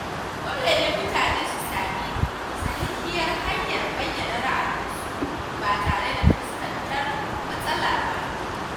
Dole ne mutane su sami sahihiyar hanyar bayyana ra’ayinsu ba tare da fuskantar matsala ba.